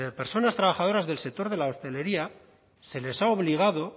personas trabajadoras del sector de la hostelería se les ha obligado